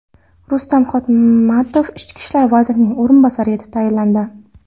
Rustam Hotamov Ichki ishlar vazirining o‘rinbosari etib tayinlandi.